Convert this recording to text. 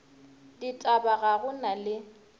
ditaba ga go na le